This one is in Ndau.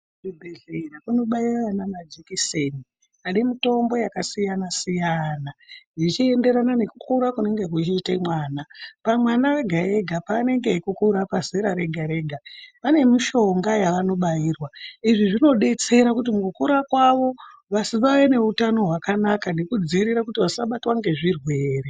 Kuzvibhedhlera kunobaiya ana majekiseni anemitombo yakasiyana-siyana, zvichienderana nekukura kunenge kuchiita mwana. Pamwana ega-ega panenge achikura pazera rega-rega pane mishonga yavanobairwa izvi zvinobetsera kuti mukukura kwavo vave neutano hwakanaka nekudzivirira kuti vasabatwa ngezvirwere.